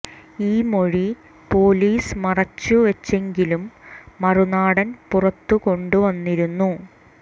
ഈ മൊഴി പൊലീസ് മറച്ചു വച്ചെങ്കിലും മറുനാടൻ പുറത്തു കൊണ്ടു വന്നിരുന്നു